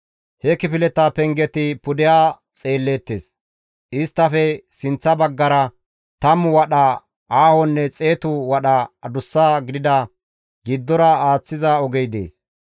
He kifileta pengeti pudeha bagga xeelleettes; isttafe sinththa baggara tammu wadha aahonne xeetu wadha adus gidida giddora aaththiza ogey dees.